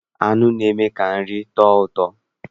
Nnụ na-eme ka nri tọọ ụtọ.